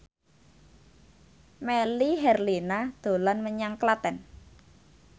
Melly Herlina dolan menyang Klaten